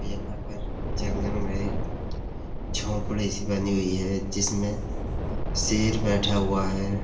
यहाँ पर जंगल में एक झोपड़ी-सी बनी हुई है। जिसमें शेर बैठा हुआ है।